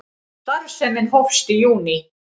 Starfsemin hófst í júní